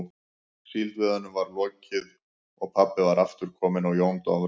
Síldveiðunum var lokið og pabbi var aftur kominn á Jón Dofra.